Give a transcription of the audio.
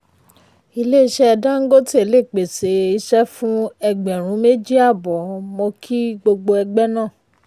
ilé iṣẹ́ dangote lè pèsè iṣẹ́ fún ẹgbẹ̀rún méjì àbọ̀ mo kí gbogbo ẹgbẹ́ náà.